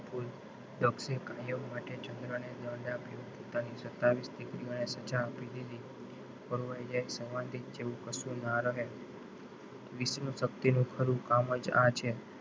દક્ષ એ કાયમ માટે ચંદ્રને દંડ આપ્યો પોતાની સત્યાવીશ દીકરી ઓને સજા આપી દીધી સમાધિ જેવું કશું ના રહે વિષ્ણુશક્તિનું ખરું કામજ આ છે.